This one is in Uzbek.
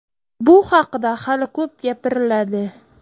Bu haqida hali ko‘p gapiriladi.